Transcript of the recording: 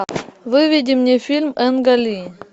выведи мне фильм энга ли